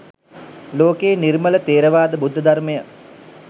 ලෝකයේ නිර්මල ථේරවාද බුද්ධ ධර්මය